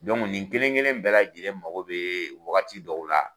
nin kelen kelen bɛɛ lajɛlen mago be wagati dɔw de la